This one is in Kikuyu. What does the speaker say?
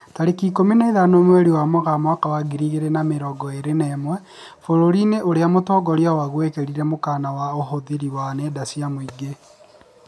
Tarĩki ikũmi na ithano mweri wa Mũgaa mwaka wa ngiri igĩrĩ na mĩrongo ĩrĩ na ĩmwe, bũrũri-inĩ ũrĩa mũtongoria waguo ekĩrirĩre mũkana ũhũthĩri wa nenda cia mũingĩ